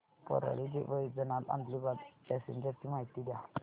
Parli Vaijnath Adilabad passenger ची माहिती द्या